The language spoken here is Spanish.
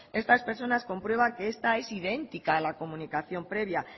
estas personas comprueban que esta es idéntica a la comunicación previa